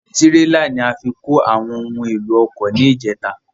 Tírélà ni a fi kó àwọn ohun èlò ọkọ ni ìjèta